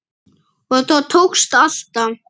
Og það tókst alltaf.